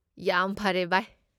ꯌꯥꯝ ꯐꯔꯦ, ꯕꯥꯏ꯫